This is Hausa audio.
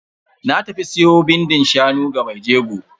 Na tafi siyo bindin shanu wa mai jegon.